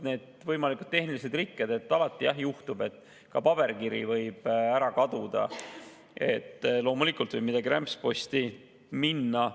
Need võimalikud tehnilised rikked – alati võib paberkiri ära kaduda ja loomulikult võib midagi rämpsposti minna.